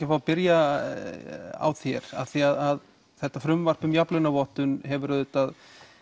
að fá að byrja á þér af því að þetta frumvarp um jafnlaunavottun hefur auðvitað